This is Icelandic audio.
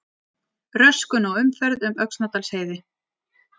Röskun á umferð um Öxnadalsheiði